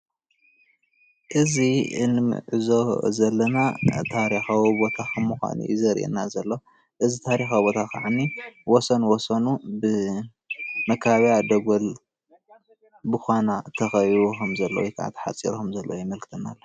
እዚ እንዕዘቦ ዘለና ታሪካዊ ቦታ ከም ምኳኑ እዩ ዘርእየና ዘሎ። እዚ ታሪካዊ ቦታ ከዓኒ ወሰን ወሰኑ ብመከባብያ ደጎል ብኳና ተከቢቡ ወይ ከዓ ተሓፂሩ ከም ዘሎ የምልክተና፡፡